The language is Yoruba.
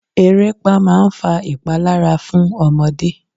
Eréepá máa ń fa ìpalára fún ọmọdé.